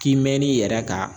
K'i mɛn'i yɛrɛ kan